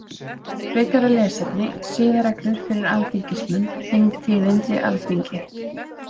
Frekara lesefni: Siðareglur fyrir alþingismenn Þingtíðindi Alþingi.